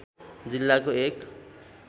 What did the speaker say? जिल्लाको एक